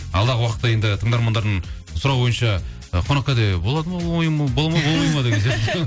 алдағы уақытта енді тыңдармандардың сұрауы бойынша ы қонақкәде болады ма